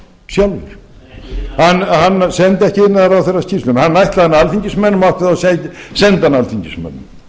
sjálfur að senda ekki hæstvirtur iðnaðarráðherra skýrsluna hann ætlaði hana alþingismönnum og átti þá að senda alþingismönnum